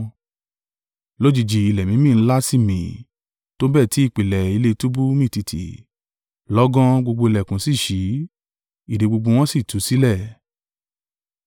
Lójijì ilẹ̀ mímì ńlá sì mi, tó bẹ́ẹ̀ tí ìpìlẹ̀ ilé túbú mì tìtì: lọ́gán, gbogbo ìlẹ̀kùn sì ṣí, ìdè gbogbo wọn sì tú sílẹ̀.